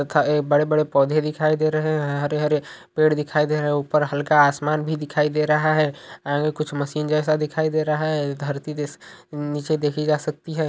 तथा ए बड़े बड़े पौधे दिखाई दे रहें हैं हरे-हरे पेड़ दिखाई दे रहें हैं ऊपर हल्का आसमान भी दिखाई दे रहा है आगे कुछ मशीन जैसा दिखाई दे रहा है। धरती नीचे देखी जा सकती है।